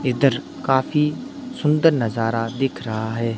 इधर काफी सुंदर नजारा दिख रहा है।